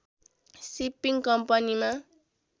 shipping कम्पनीमा